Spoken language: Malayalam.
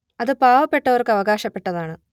അത് പാവപ്പെട്ടവർക്ക് അവകാശപ്പെട്ടതാണ്